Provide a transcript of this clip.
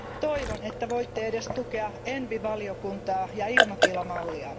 toivon, että voitte edes tukea ENVI valiokuntaa ja ilmatilamallia.